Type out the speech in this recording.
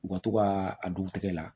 U ka to ka a dugutigɛ la